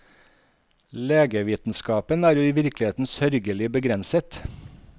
Legevitenskapen er jo i virkeligheten sørgelig begrenset.